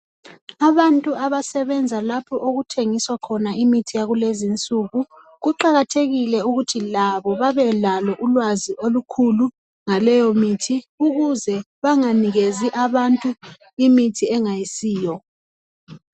Abantu abasebenza lapho okuthengiswa khona imithi yakulezinsuku kuqakathekile ukuthi labo babelalo ulwazi olukhulu ngaleyimithi ukuze benganikezi abantu imithi engayisiyo.